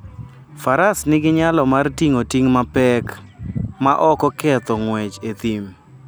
Faras nigi nyalo mar ting'o ting' mapek maok oketho ng'wech e thim.